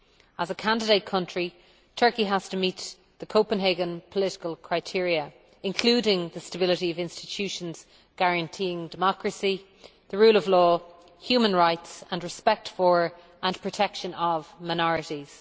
As a candidate country, Turkey has to meet the Copenhagen political criteria, including the stability of institutions guaranteeing democracy, the rule of law, human rights and respect for and protection of minorities.